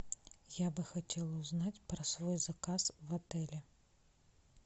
я бы хотела узнать про свой заказ в отеле